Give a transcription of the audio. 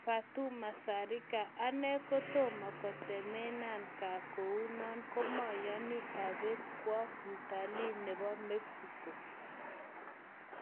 Fatuma Zarika:Ane kotomo kotemenan ga kounon komoyoni obet kwo mtali nebo Mexico.